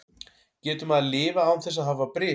Getur maður lifað án þess að hafa bris?